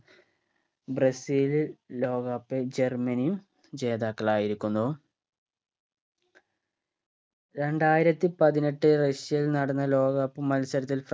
ബ്രസീലിൽ ലോക cup ൽ ജർമനിയും ജേതാക്കളായിരിക്കുന്നു രണ്ടായിരത്തി പതിനെട്ട് റഷ്യയിൽ നടന്ന ലോക cup മത്സരത്തിൽ